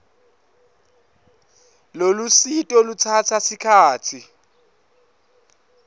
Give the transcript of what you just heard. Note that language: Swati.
lolusito lutsatsa sikhatsi